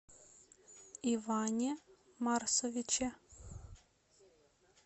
иване марсовиче